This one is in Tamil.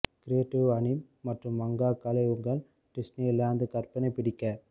கிரியேட்டிவ் அனிம் மற்றும் மங்கா கலை உங்கள் டிஸ்னிலாந்து கற்பனை பிடிக்க